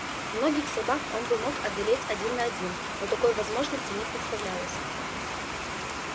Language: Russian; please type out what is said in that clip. многих собак он мог бы одолеть один на один но такой возможности не представлялось